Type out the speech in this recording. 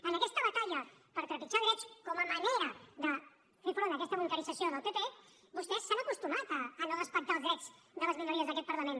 en aquesta batalla per trepitjar drets com a manera de fer front a aquesta bunquerització del pp vostès s’han acostumat a no respectar els drets de les minories d’aquest parlament